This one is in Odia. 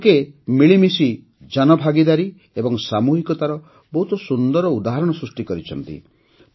ଏହି ଲୋକେ ମିଳିମିଶି ଜନଭାଗିଦାରୀ ଓ ସାମୂହିକତାର ବହୁତ ସୁନ୍ଦର ଉଦାହରଣ ସୃଷ୍ଟି କରିଛନ୍ତି